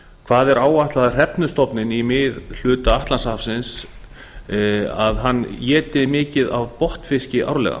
hvað er áætlað að hrefnustofninn í miðhluta atlantshafsins sem heldur sig við ísland éti mikið af botnfiski árlega